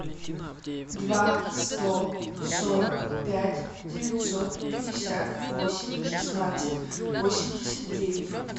два сто сорок пять девятьсот пятьдесят восемь шестнадцать восемьдесят девять